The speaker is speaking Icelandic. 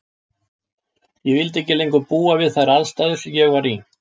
Ég vildi ekki lengur búa við þær aðstæður sem ég var í.